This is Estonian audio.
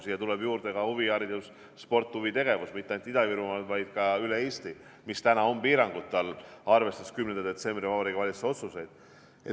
Siia tuleb juurde ka huviharidus, sport ja huvitegevus, mitte ainult Ida-Virumaal, vaid ka üle Eesti, mis on praegu piirangute all, arvestades 10. detsembri Vabariigi Valitsuse otsuseid.